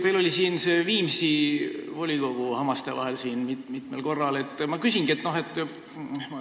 Teil oli see Viimsi volikogu mitmel korral hammaste vahel.